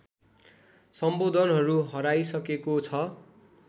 सम्बोधनहरू हराइसकेको छ